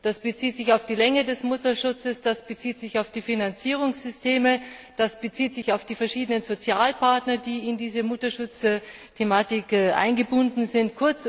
Das bezieht sich auf die Länge des Mutterschutzes, das bezieht sich auf die Finanzierungssysteme, das bezieht sich auf die verschiedenen Sozialpartner, die in diese Mutterschutzthematik eingebunden sind.